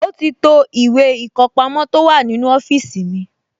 Ó ti to ìwé ìkọpamọ́ tó wà nínú ọ́fíìsì mi